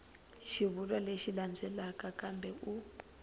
xivulwa lexi landzelaka kambe u